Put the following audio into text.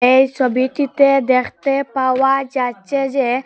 এই ছবিটিতে দেখতে পাওয়া যাচ্ছে যে--